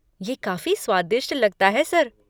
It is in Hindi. ये काफ़ी स्वादिष्ट लगता है, सर।